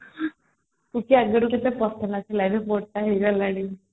ସୁଶ୍ରୀ ଆଗରୁ କେତେ ପତଳା ଥିଲା ଏବେ ମୋଟ ହେଇ ଗଲାଣି